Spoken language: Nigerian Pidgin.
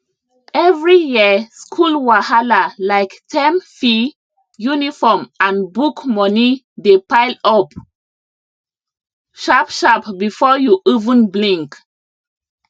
every year school wahalalike term fee uniform and book moneydey pile up sharpsharp before you even blink